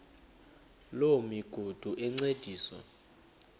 loo migudu encediswa